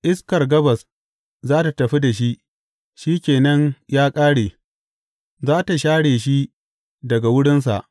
Iskar gabas za tă tafi da shi; shi ke nan ya ƙare; za tă share shi daga wurinsa.